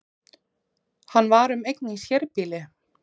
Hann var um eign í sérbýli